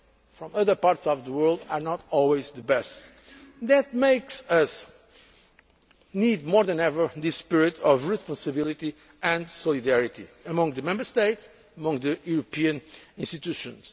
Europe and also from other parts of the world is not always the best. That makes us need more than ever this spirit of responsibility and solidarity among the Member States and among the European